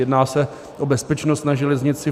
Jedná se o bezpečnost na železnici.